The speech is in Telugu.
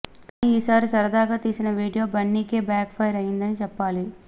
కానీ ఈ సారి సరదాగా తీసిన వీడియో బన్నీకే బ్యాక్ ఫైర్ అయిందని చెప్పాలి